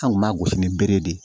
An kun b'a gosi ni bere de ye